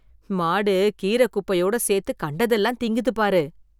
மாடு கீரை குப்பையோட சேர்த்து கண்டதெல்லாம் திங்குது பாரு.